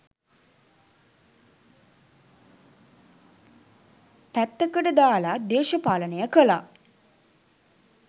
පැත්තකට දාලා දේශපාලනය කළා.